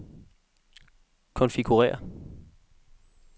konfigurér